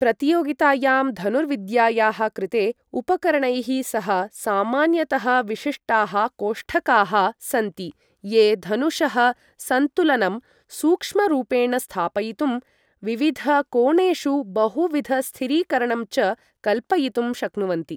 प्रतियोगितायां धनुर्विद्यायाः कृते उपकरणैः सह सामान्यतः विशिष्टाः कोष्ठकाः सन्ति ये धनुषः सन्तुलनं सूक्ष्मरूपेण स्थापयितुं, विविधकोणेषु बहुविधस्थिरीकरणं च कल्पयितुं शक्नुवन्ति।